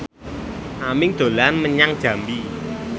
Aming dolan menyang Jambi